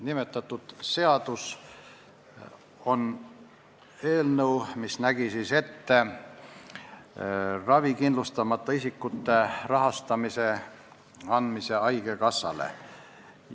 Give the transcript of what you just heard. Nimetatud seaduseelnõu näeb ette ravikindlustamata isikute ravi rahastamise üleandmise haigekassale.